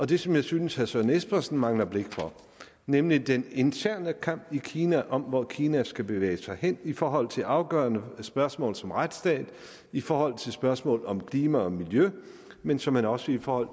det som jeg synes herre søren espersen mangler blik for nemlig den interne kamp i kina om hvor kina skal bevæge sig hen i forhold til afgørende spørgsmål som retsstat i forhold til spørgsmål om klima og miljø men såmænd også i forhold